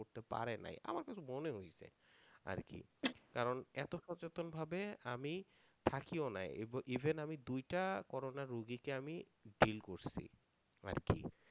করতে পারে নাই, আমার কাছে মনে হয়েছে আরকি কারণ এতো সচেতন ভাবে আমি থাকিও নাই ইভ~ even আমি দুইটা corona রুগীকে আমি drill করছি আরকি